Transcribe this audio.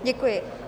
Děkuji.